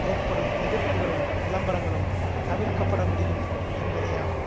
ஏற்படும் எதிர்ப்புக்களும் விளம்பரங்களும் தவிர்க்கப் படமுடியும் என்பதேயாகும்